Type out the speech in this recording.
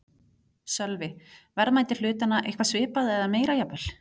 Sölvi: Verðmæti hlutanna eitthvað svipað eða meira jafnvel?